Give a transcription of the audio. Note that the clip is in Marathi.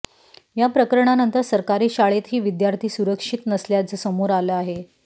या प्रकरणानंतर सरकारी शाळेतही विद्यार्थी सुरक्षित नसल्याचं समोर आलं आहे